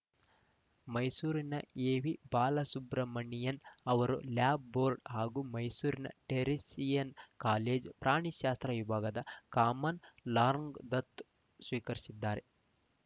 ಮೈಸೂರಿನ ಎವಿಬಾಲಸುಬ್ರಮಣಿಯನ್‌ ಅವರು love bird ಹಾಗೂ ಮೈಸೂರಿನ ಟೆರಿಸಿಯನ್‌ ಕಾಲೇಜು ಪ್ರಾಣಿಶಾಸ್ತ್ರ ವಿಭಾಗದ ಕಾಮನ್‌ ಲಾರ್‌ಗ್ ದತ್ತ ಸ್ವೀಕರಿಸಿದ್ದಾರೆ